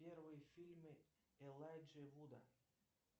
первые фильмы элайджа вуда